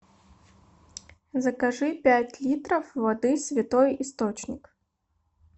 закажи пять литров воды святой источник